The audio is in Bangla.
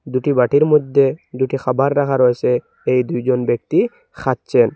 দুটি বাটির মধ্যে দুটি খাবার রাখা রয়েসে এই দুইজন ব্যক্তি খাচ্ছেন।